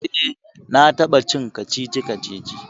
eh na taba cin kacici-kacici